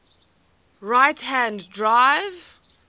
right hand drive